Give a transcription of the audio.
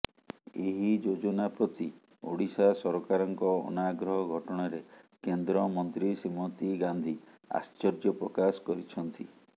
ଏହି ଯୋଜନା ପ୍ରତି ଓଡ଼ିଶା ସରକାରଙ୍କ ଅନାଗ୍ରହ ଘଟଣାରେ କେନ୍ଦ୍ରମନ୍ତ୍ରୀ ଶ୍ରୀମତୀ ଗାନ୍ଧୀ ଆଶ୍ଚର୍ଯପ୍ରକାଶ କରିଛନ୍ତି